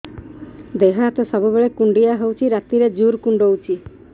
ଦେହ ହାତ ସବୁବେଳେ କୁଣ୍ଡିଆ ହଉଚି ରାତିରେ ଜୁର୍ କୁଣ୍ଡଉଚି